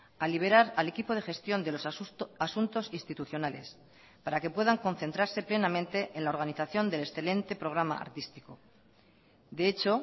a liberar al equipo de gestión de los asuntos institucionales para que puedan concentrarse plenamente en la organización del excelente programa artístico de hecho